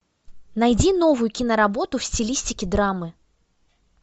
найди новую киноработу в стилистике драмы